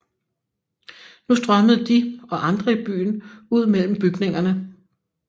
Nu strømmede de og andre i byen ud mellem bygningerne